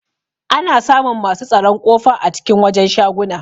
Ana samun masu tsaron kofa a cikin wajen shaguna.